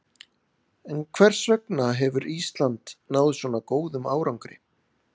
En hvers vegna hefur Ísland náð svona góðum árangri?